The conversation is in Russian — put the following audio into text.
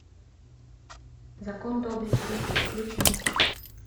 закон доблести включай